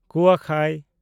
ᱠᱩᱣᱟᱠᱷᱟᱭ